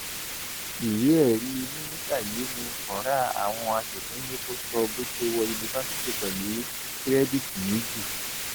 ìwéẹrí mínísítà yìí ní kọra àwọn asòfin ni kò sọ bó ṣe wọ yunifásitì pẹlú kìrẹdìítì méjì